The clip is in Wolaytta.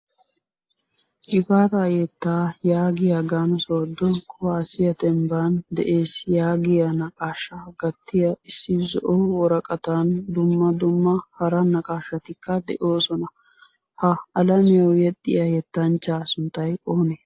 Gifata yetta yaagiyaagan sodo kuwasiyaa dembban de'ees yaagiyaa naqqashshaa gatiyaa issi zo'o worqqatan dumma dumma hara naqqashatikka deosona. Ha alamiyawu yexxiyaa yettanchcha sunttay oone?